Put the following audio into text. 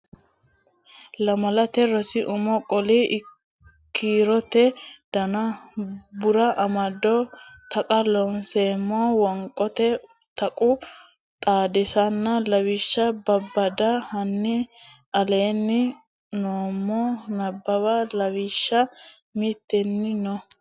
Lamalate Rosi Umo Qaali kiirote Dona Barru Amado Taqa Looseemmo Qoonqote Tuqqo Xaadisanna Lawishsha Babbada hanni aleenni nummo Nabbawa lawishsha mittenni no.